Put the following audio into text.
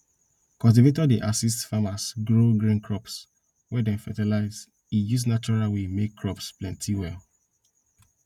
cultivator dey assist farmers grow green crops wey dem fertilize e use natural way make crops plenty well